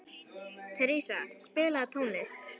Theresa, spilaðu tónlist.